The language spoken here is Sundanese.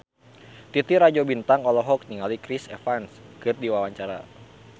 Titi Rajo Bintang olohok ningali Chris Evans keur diwawancara